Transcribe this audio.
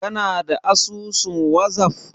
Kana da asusun wazaf?